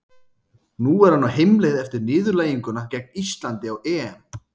Nú er hann á heimleið eftir niðurlæginguna gegn Íslandi á EM.